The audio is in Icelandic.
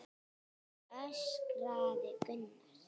öskraði Gunnar.